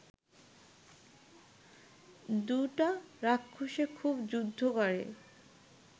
দুইটা রাক্ষসে খুব যুদ্ধ করে